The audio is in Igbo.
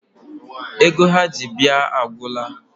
Ego ha ji bịa agwụla.